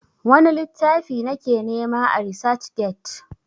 wani littafi na ke nema a resac get?